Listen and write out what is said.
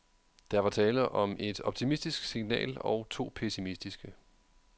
Der var tale om et optimistisk signal og to pessimistiske.